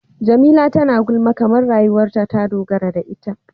Jamila tana gulma kamar rayuwarta ta dogara da ita.